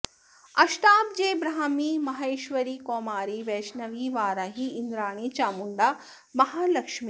अष्टाब्जे ब्राह्मी माहेश्वरी कौमारी वैष्णवी वाराही इन्द्राणी चामुण्डा महालक्ष्मीः